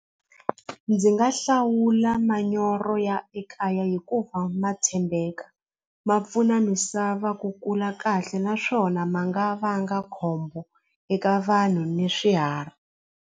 Ndzi nga hlawula manyoro ya ekaya hikuva ma tshembeka ma pfuna misava ku kula kahle naswona ma nga vanga khombo eka vanhu ni swiharhi.